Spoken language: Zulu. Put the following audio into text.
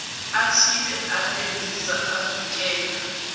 athile endiza avikela